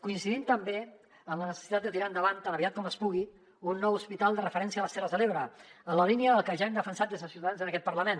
coincidim també en la necessitat de tirar endavant tan aviat com es pugui un nou hospital de referència a les terres de l’ebre en la línia del que ja hem defensat des de ciutadans en aquest parlament